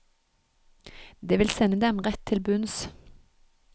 Det vil sende dem rett til bunns.